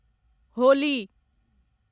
Holi